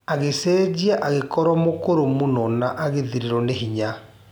Agĩcenjia agĩkorwo mũkũrũ mũno na agĩthirĩrwo nĩ hinya.